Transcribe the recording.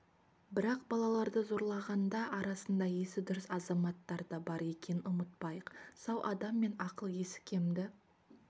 бірақ балаларды зорлағандар арасында есі дұрыс азаматтар дабар екенін ұмытпайық сау адам мен ақыл-есі кемді